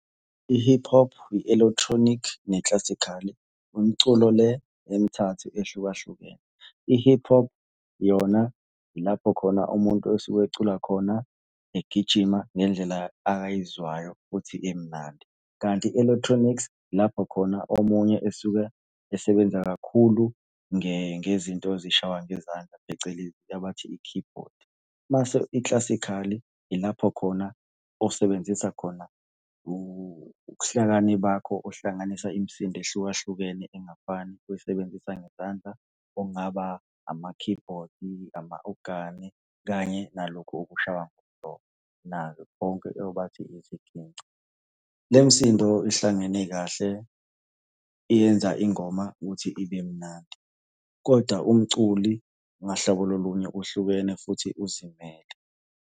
I-hip hop, i-electronic, ne-classical-i, imiculo le emithathu ehlukahlukene. I-hip hop yona ilapho khona umuntu esuke ecula khona egijima ngendlela akayizwayo ukuthi imnandi, kanti i-electronics lapho khona omunye esuke esebenza kakhulu ngezinto ezishawa ngezandla, phecelezi abathi i-keyboard. Mase i-classical-i ilapho khona osebenzisa khona ukuhlakani bakho uhlanganisa imisindo ehlukahlukene engafani, uyisebenzisa ngezandla, okungaba ama-keyboard nama-ogane kanye nalokhu kushawa nakho konke obathi iziginci. Le misindo ihlangene kahle iyenza ingoma ukuthi ibe mnandi, kodwa umculi ngahlobo lulunye uhlukene futhi uzimele.